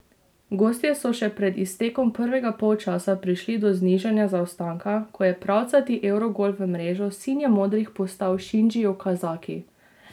Gostje so še pred iztekom prvega polčasa prišli do znižanja zaostanka, ko je pravcati evrogol v mrežo sinjemodrih poslal Šinji Okazaki.